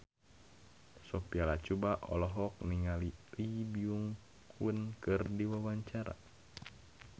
Sophia Latjuba olohok ningali Lee Byung Hun keur diwawancara